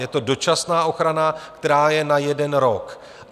Je to dočasná ochrana, která je na jeden rok.